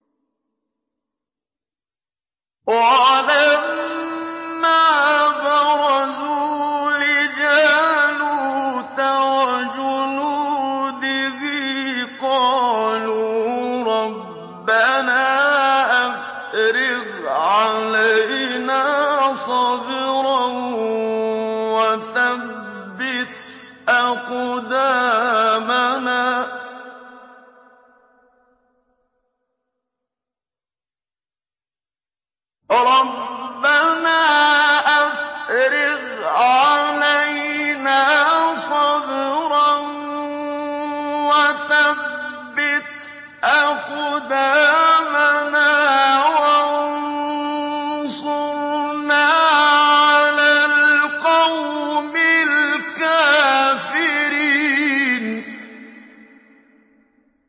وَلَمَّا بَرَزُوا لِجَالُوتَ وَجُنُودِهِ قَالُوا رَبَّنَا أَفْرِغْ عَلَيْنَا صَبْرًا وَثَبِّتْ أَقْدَامَنَا وَانصُرْنَا عَلَى الْقَوْمِ الْكَافِرِينَ